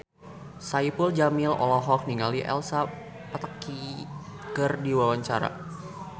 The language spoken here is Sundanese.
Saipul Jamil olohok ningali Elsa Pataky keur diwawancara